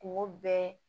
Kungo bɛɛ